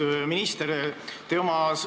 Austatud minister!